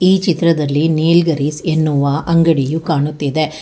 ಈ ಚಿತ್ರದಲ್ಲಿ ನೀಲ್ಗರಿಸ್ ಎನ್ನುವ ಅಂಗಡಿಯು ಕಾಣುತ್ತಿದೆ.